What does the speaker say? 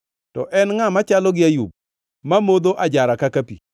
To en ngʼa machalo gi Ayub; mamodho ajara kaka pi?